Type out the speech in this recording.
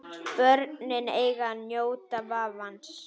Börnin eiga að njóta vafans.